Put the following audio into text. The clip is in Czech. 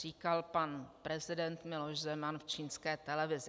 Říkal pan prezident Miloš Zeman v čínské televizi.